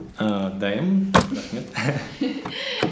ііі дайынмын рахмет